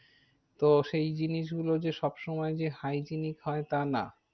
তো সেই জিনিস গুলো যে সব সময় যে hygienic হয় তা না।